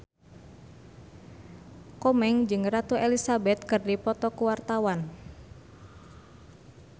Komeng jeung Ratu Elizabeth keur dipoto ku wartawan